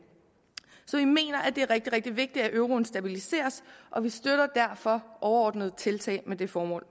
så vi mener at det er rigtig rigtig vigtigt at euroen stabiliseres og vi støtter derfor overordnet tiltag med det formål